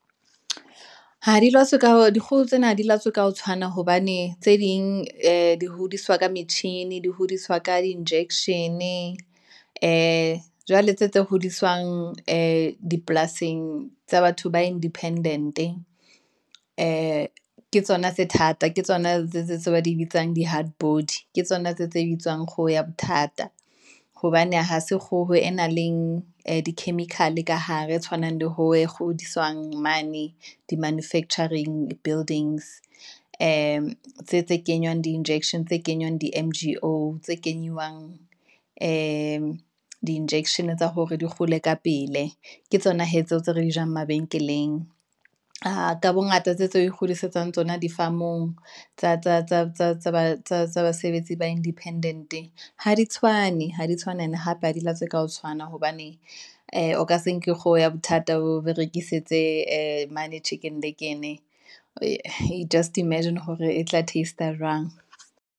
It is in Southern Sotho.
dikgoho tsena ha di latswe ka ho tshwana, hobane tse ding ee di hodiswa ka metjhini, di hodiswa ka di injection-e, ee jwale tse hodiswang ee dipolasing tsa batho ba independent-e. Ke tsona tse thata, ke tsona tse ba di bitsang di hardbody, ke tsona tse bitswang kgoho ya bothata, hobane hase kgoho e nang le di ee chemical ka hare, tshwanang le hore kgodiswang mane di manufacturing buildings, ee tse kenywang di-injection, tse kenywang di-M_G_O, tse kenywang ee di injection tsa hore di kgole ka pele. Ke tsona hee tseo tse re di jang mabenkeleng, aa ka bongata tse ikgodisetsang tsona di farm-ong, tsa basebetsi ba independent-e, ha di tshwane, ene hape ho di latswa ka ho tshwana, hobane ee o ka se nke kgoho ya bothata o e berekisetse mane Chicken Licken-e, just Imagine hore e tla teast-a jwang.